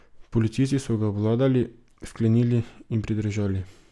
Policisti so ga obvladali, vklenili in pridržali.